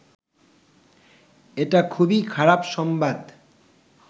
এটা খুবই খারাপ সংবাদ